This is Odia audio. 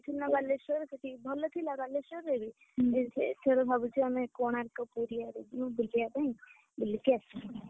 ବାଲେଶ୍ୱର, ଭଲ ଥିଲା ବାଲେଶ୍ୱରରେ ବି? କିନ୍ତୁ ଏଥର ଭାବୁଛୁ ଆମେ, କୋଣାର୍କ ପୁରୀ ଆଡ଼େ ଯିବୁ ବୁଲିଆ ପାଇଁ ବୁଲିକି ଆସିବୁ!